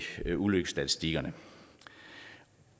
ulykkesstatistikkerne